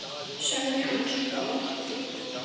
sagði hún svo oft.